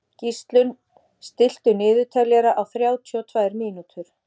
Gíslunn, stilltu niðurteljara á þrjátíu og tvær mínútur.